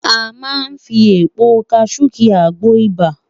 A máa fi èpo kajú ki àgbo ibà